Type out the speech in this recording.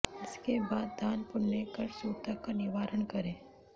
इसके बाद दान पुण्य कर सूतक का निवारण करें